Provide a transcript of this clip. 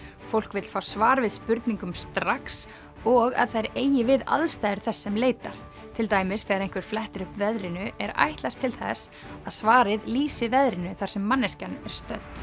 fólk vill fá svar við spurningum strax og að þær eigi við aðstæður þess sem leitar til dæmis þegar einhver flettir upp veðrinu er ætlast til þess að svarið lýsi veðrinu þar sem manneskjan er stödd